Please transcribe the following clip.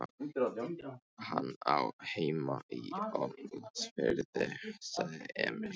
Hann á heima í Ólafsfirði, sagði Emil.